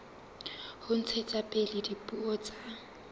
ho ntshetsa pele dipuo tsa